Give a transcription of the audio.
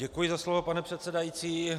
Děkuji za slovo, pane předsedající.